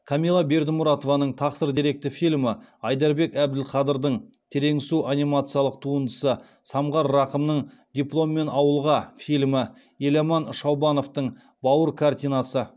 камилла бердімұратованың тақсыр деректі фильмі айдарбек әбділқадырдың терең су анимациялық туындысы самғар рақымның дипломмен ауылға фильмі еламан шаубановтың бауыр картинасы